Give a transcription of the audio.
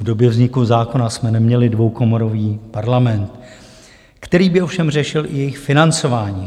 V době vzniku zákona jsme neměli dvoukomorový parlament, který by ovšem řešil i jejich financování.